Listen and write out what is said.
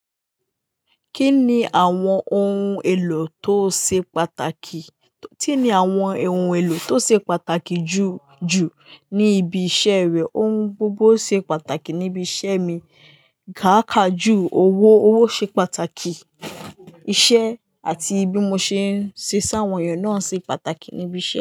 Kí ni àwọn ohun èlò tó ṣe pàtàkì? Kí ni àwọn ohun èlò tó ṣe pàtàkì jù jù ní ibi iṣẹ́ rẹ? Ohun gbogbo ṣe pàtàkì níbi iṣẹ́ mi. Káàkàjù owó, owó ṣe pàtàkì, iṣẹ́ àti bí mo ṣe ń ṣe s'áwọn èèyàn náà ṣe pàtàkì níbi iṣẹ́.